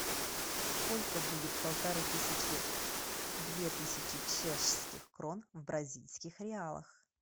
сколько будет полторы тысячи две тысячи чешских крон в бразильских реалах